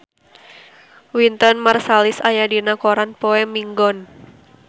Wynton Marsalis aya dina koran poe Minggon